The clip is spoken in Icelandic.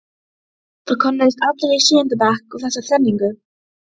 Það könnuðust allir í sjöunda bekk við þessa þrenningu.